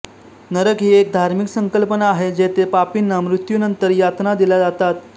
नरक ही एक धार्मिक संकल्पना आहे जेथे पापींना मृत्यूनंतर यातना दिल्या जातात